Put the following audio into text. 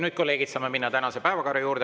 Nüüd, kolleegid, saame minna tänase päevakorra juurde.